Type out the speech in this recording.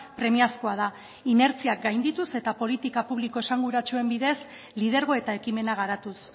premiazkoa da inertzia gaindituz eta politika publiko esanguratsuen bidez lidergo eta ekimena garatuz